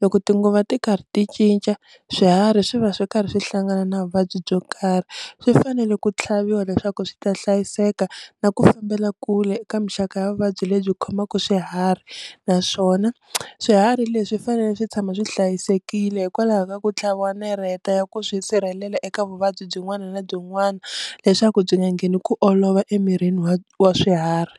loko tinguva ti karhi ti cinca swiharhi swi va swi karhi swi hlangana na vuvabyi byo karhi, swi fanele ku tlhaviwa leswaku swi ta hlayiseka na ku fambela kule eka mixaka ya vuvabyi lebyi khomaka swiharhi, naswona swiharhi leswi swi fanele swi tshama swi hlayisekile hikwalaho ka ku tlhaviwa ka nareta ya ku swi sirhelela eka vuvabyi byin'wana na byinwana leswaku byi nga ngheni ku olova emirini wa wa swiharhi.